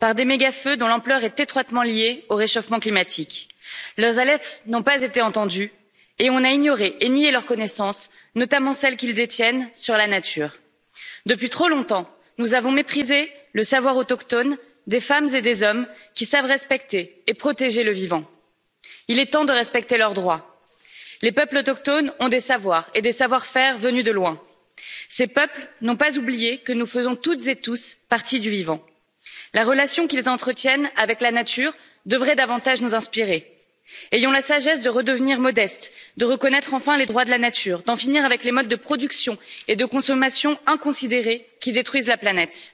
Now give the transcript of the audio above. Monsieur le Président, les écocides gagnent du terrain. En Australie, les aborigènes ont vu leurs terres ravagées par des méga feux dont l'ampleur est étroitement liée au réchauffement climatique. Leurs alertes n'ont pas été entendues et on a ignoré et nié leurs connaissances, notamment celles qu'ils détiennent sur la nature. Depuis trop longtemps, nous avons méprisé le savoir autochtone des femmes et des hommes qui savent respecter et protéger le vivant. Il est temps de respecter leurs droits. Les peuples autochtones ont des savoirs et des savoir faire venus de loin. Ces peuples n'ont pas oublié que nous faisons toutes et tous partie du vivant. La relation qu'ils entretiennent avec la nature devrait davantage nous inspirer. Ayons la sagesse de redevenir modestes, de reconnaître enfin les droits de la nature, d'en finir avec les modes de production et de consommation inconsidérés qui détruisent la planète.